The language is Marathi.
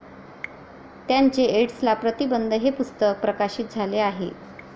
त्यांचे 'एड्सला प्रतिबंध ' हे पुस्तक प्रकाशित झाले आहे.